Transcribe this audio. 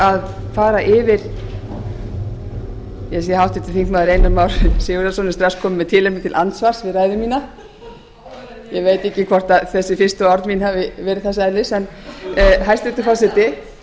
að fara yfir ég sé að háttvirtur þingmaður einar már sigurðarson er strax kominn með tilefni til andsvars við ræðu mína ég veit ekki hvort þessi fyrstu orð mín hafi verið þess eðlis hæstvirtur forseti